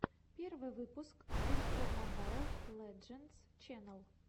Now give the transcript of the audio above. первый выпуск зверько мобайл лэджендс ченнал